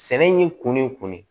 Sɛnɛ y'i kunni